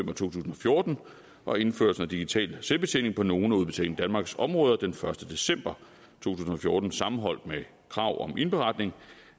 to tusind og fjorten og indførelsen af digital selvbetjening på nogle af udbetaling danmarks områder den første december to tusind og fjorten sammenholdt med krav om indberetning